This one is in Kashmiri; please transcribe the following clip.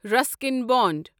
رسکیٖن بوٛند